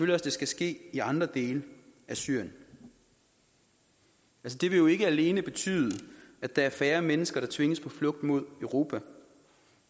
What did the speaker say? det skal ske i andre dele af syrien det vil jo ikke alene betyde at der er færre mennesker der tvinges på flugt mod europa